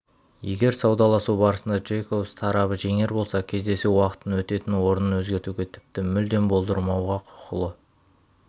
егер саудаласу барысында джейкобс тарабы жеңер болса кездесу уақытын өтетін орнын өзгертуге тіпті мүлдем болдырмауға құқылы